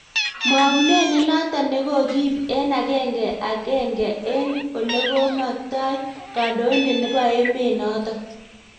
Mwaunet nenotok negogiip eng agenge agenge eng� olego maktai Kandoindet nebo emet notok.